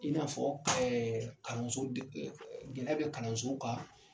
I n'afɔ kalanso deg fɛ gɛlɛya bɛ kalansow ka.